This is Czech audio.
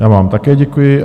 Já vám také děkuji.